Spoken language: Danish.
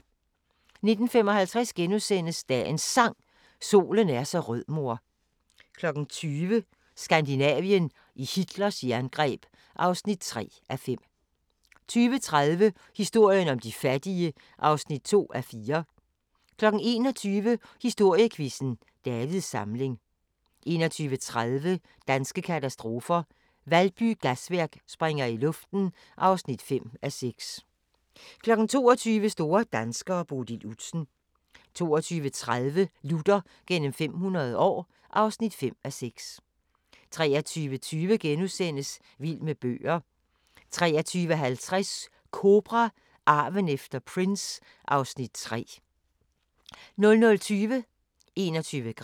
19:55: Dagens Sang: Solen er så rød mor * 20:00: Skandinavien i Hitlers jerngreb (3:5) 20:30: Historien om de fattige (2:4) 21:00: Historiequizzen: Davids Samling 21:30: Danske katastrofer – Valby Gasværk springer i luften (5:6) 22:00: Store danskere: Bodil Udsen 22:30: Luther gennem 500 år (5:6) 23:20: Vild med bøger * 23:50: Kobra – Arven efter Prince (Afs. 3) 00:20: 21 gram